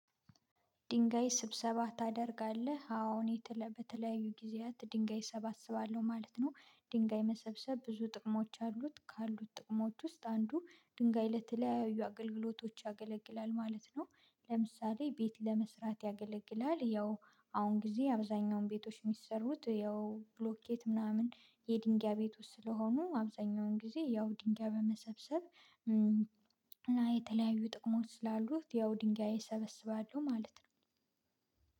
ድንጋይ ስብሰባ ታደርጋለህ? አዎ እኔ በተለያዩ ጊዜያት ድንጋይ እሰባስባለሁ ማለት ነው ድንጋይ መሰብሰብ ብዙ ጥቅሞች አሉት ካሉት ጥቅሞች ውስጥ አንዱ ድንጋይ ለተለያዩ አገልግሎቶች ያገለግላል ማለት ነው ለምሳሌ ቤት ለመስራት ያገለግላል ያው አሁን ጊዜ አብዛኛውን ቤቶች የሚሰሩት ያው ብሎኬት ምናምን የድንጋይ ቤቶች ስለሆኑ አብዛኛውን ጊዜ ያው ድንጋይ በመሰብሰብ የተለያዩ ጥቅሞች ስላሉት ያው ድንጋይ እሰበስባለሁ ማለት ነው